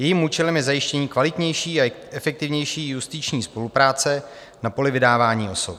Jejím účelem je zajištění kvalitnější a efektivnější justiční spolupráce na poli vydávání osob.